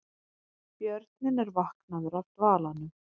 Björninn er vaknaður af dvalanum